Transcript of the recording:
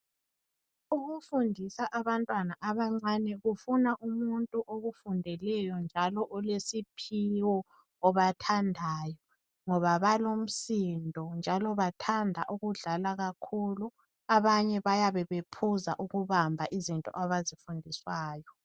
Ukufundisa abantwana abancane kufuna umuntu okufundeleyo njalo elesiphiwo obathandayo ngoba balomsindo njalo bathanda ukudlala kakhulu abanye bayabe bephuza ukubamba izinto abazifundiswayo.